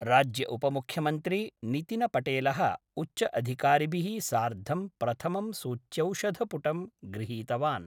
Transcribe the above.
राज्यउपमुख्यमन्त्री नितिनपटेलः उच्चअधिकारिभिः सार्धं प्रथमं सूच्यौषधपुटं गृहीतवान्।